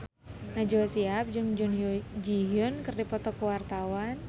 Najwa Shihab jeung Jun Ji Hyun keur dipoto ku wartawan